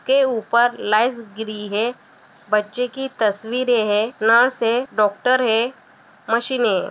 के ऊपर लाइस गिरी है बच्चे की तस्वीरे है नर्स है डॉक्टर है मशीने है।